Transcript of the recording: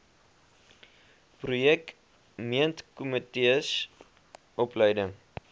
projek meentkomitees opleiding